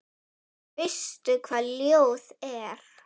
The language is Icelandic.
Veistu hvað ljóð er?